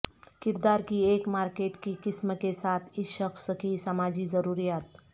کردار کی ایک مارکیٹ کی قسم کے ساتھ اس شخص کی سماجی ضروریات